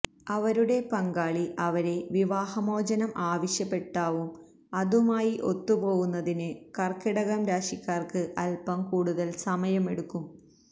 അവരുടെ പങ്കാളി അവരെ വിവാഹമോചനം ആവശ്യപ്പെട്ടാവും അതുമായി ഒത്തുപോവുന്നതിന് കര്ക്കിടകം രാശിക്കാര്ക്ക് അല്പം കൂടുതല് സമയം എടുക്കും